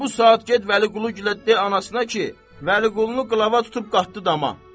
Elə bu saat get Vəliquluya de anasına ki, Vəliqulunu qılava tutub qatdı dama.